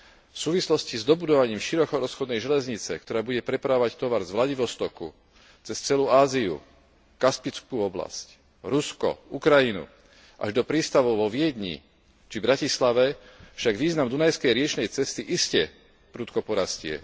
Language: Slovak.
V súvislosti s dobudovaním širokorozchodnej železnice, ktorá bude prepravovať tovar z Vladivostoku cez celú Áziu, Kaspickú oblasť, Rusko, Ukrajinu až do prístavu vo Viedni pri Bratislave, však význam dunajskej riečnej cesty iste prudko porastie.